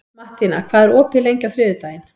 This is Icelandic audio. Mattína, hvað er opið lengi á þriðjudaginn?